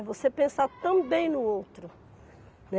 É você pensar também no outro, né.